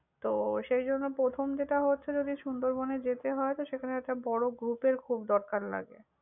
তো সেইজন্য প্রথম যেটা হচ্ছে যদি সুন্দরবন এ যেতে হয়, তো সেখানে একটা বড় group এর খুব দরকার লাগে।